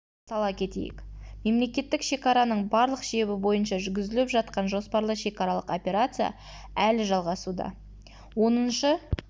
сала кетейік мемлекеттік шекараның барлық шебі бойынша жүргізіліп жатқан жоспарлы шекаралық операция әлі жалғасуда оныншы